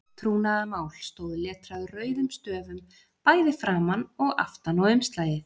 TRÚNAÐARMÁL stóð letrað rauðum stöfum bæði framan og aftan á umslagið.